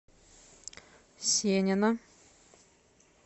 сенина